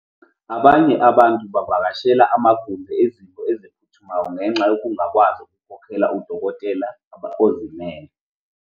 Abanye abantu bavakashela amagumbi ezinto eziphuthumayo ngenxa yokungakwazi ukukhokhela udokotela ozimele.